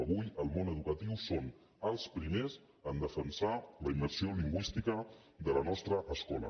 avui el món educatiu és el primer a defensar la immersió lingüística de la nostra escola